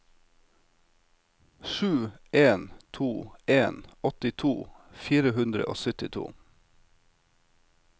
sju en to en åttito fire hundre og syttito